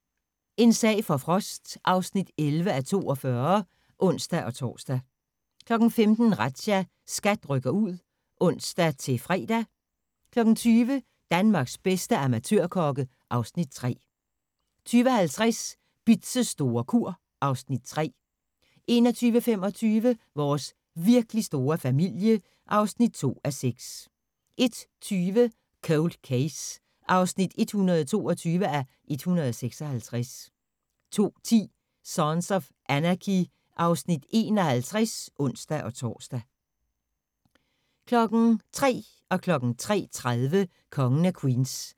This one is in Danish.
12:35: En sag for Frost (11:42)(ons-tor) 15:00: Razzia – SKAT rykker ud (ons-fre) 20:00: Danmarks bedste amatørkokke (Afs. 3) 20:50: Bitz' store kur (Afs. 3) 21:25: Vores virkelig store familie (2:6) 01:20: Cold Case (122:156) 02:10: Sons of Anarchy (Afs. 51)(ons-tor) 03:00: Kongen af Queens (31:216) 03:30: Kongen af Queens